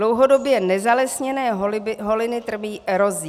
Dlouhodobě nezalesněné holiny trpí erozí.